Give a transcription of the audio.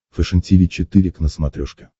фэшен тиви четыре к на смотрешке